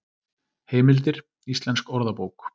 Heimildir: Íslensk orðabók.